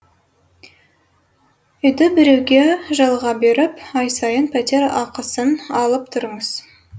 үйді біреуге жалға беріп ай сайын пәтер ақысын алып тұрыңыз